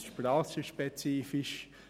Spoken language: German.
Dort ist es branchenspezifisch.